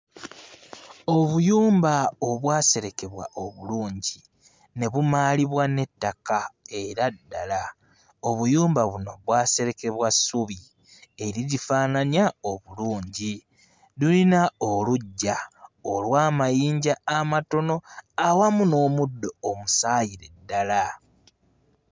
Obuyumba obwaserekebwa oblungi ne bumaalibwa n'ettaka era ddala, obuyumba buno bwaserekebwa ssubi erigifaananya obulungi luyina oluggya olw'amayinja amatono awamu n'omuddo omusaayire ddala.